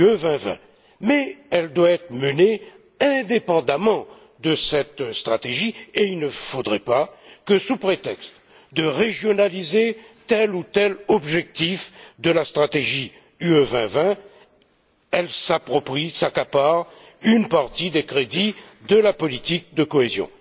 2020. Mais elle doit être menée indépendamment de cette stratégie et il ne faudrait pas que, sous prétexte de régionaliser tel ou tel objectif de la stratégie UE 2020, elle s'approprie ou s'accapare une partie des crédits de la politique de cohésion.